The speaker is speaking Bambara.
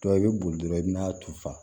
i bɛ boli dɔrɔn i bɛn'a turu sa